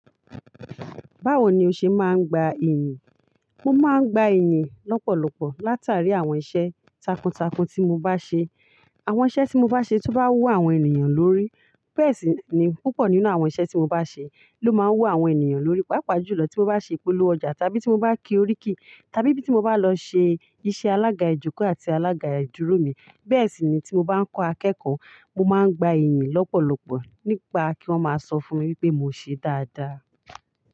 Báwo ni o ṣe máa ń gba iyìn? Mo máa ń gba ẹ̀yìn lọ́pọ̀lọpọ̀ látàrí àwọn iṣẹ́ takuntakun tí mo bá ṣe. Àwọn iṣẹ́ tí mo bá ṣe tó bá wù àwọn ènìyàn lórí. Bẹ́ẹ̀ sì ni púpọ̀ nínú àwọn iṣẹ́ tí mo bá ṣe ló máa ń wù àwọn ènìyàn lórí. Paápa jùlọ tí mo bá ṣe ìpolówó ọjà tàbí tí mo bá ki oríkì tàbí bíi ti mo bá lọ ṣe iṣẹ́ alága ìjókòó àti alága ìdúró mi. Bẹ́ẹ̀ sì ni tí mo bá ń kọ́ akẹ́kọ̀ọ́, mo máa ń gba iyìn lọ́pọ̀lọpọ̀ nípa kí wọ́n máa sọ fún mi wípé mo ṣe dáadáa.